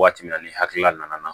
Waati min na ni hakilila nana